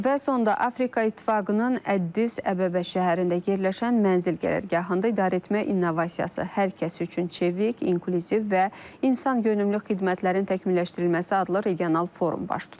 Və sonda Afrika İttifaqının Əddis Əbəbə şəhərində yerləşən mənzil qərargahında idarəetmə innovasiyası, hər kəs üçün çevik, inklüziv və insanönümlü xidmətlərin təkmilləşdirilməsi adlı regional forum baş tutub.